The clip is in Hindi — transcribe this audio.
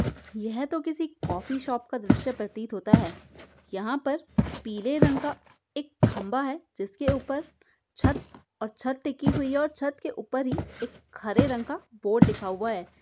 यह तो किसी कॉफी शॉप का दृश्य प्रतीत होता है। यहाँ पर पीले रंग का एक खंबा है जिसके ऊपर छत और छत टिकी हुई है और छत के ऊपर ही एक हरे रंग का बोर्ड लिखा हुआ है।